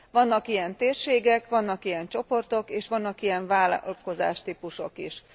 Vannak ilyen térségek, vannak ilyen csoportok, és vannak ilyen vállalkozástípusok is.